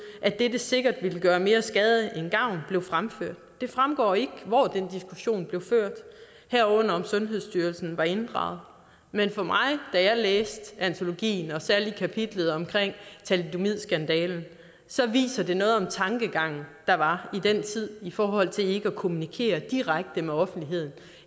at dette sikkert ville gøre mere skade end gavn blev fremført det fremgår ikke hvor den diskussion blev ført herunder om sundhedsstyrelse var inddraget men for mig da jeg læste antologien og særlig kapitlet om thalidomidskandalen viser det noget om tankegangen der var i den tid i forhold til ikke at kommunikere direkte med offentligheden